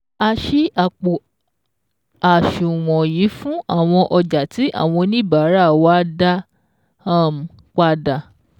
A ṣí àpò àṣùwọ̀n yìí fún àwọn ọjà tí àwọn oníbàárà wa dá um padà